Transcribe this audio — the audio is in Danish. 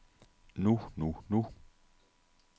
nu nu nu